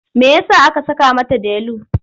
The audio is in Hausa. Me ya sa aka saka mata Delu?